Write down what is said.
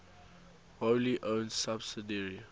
wholly owned subsidiary